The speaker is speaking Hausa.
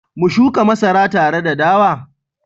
mu shuka masara tare da dawa?